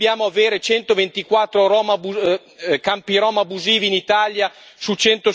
Perché dobbiamo avere 124 campi rom abusivi in Italia su